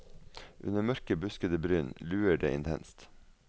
Under mørke, buskete bryn luer det intenst.